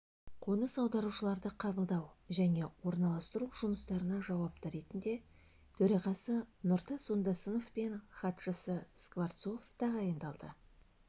қоныс аударушыларды қабылдау және орналастыру жұмыстарына жауапты ретінде төрағасы нұртас ондасынов пен хатшысы скворцов тағайындалды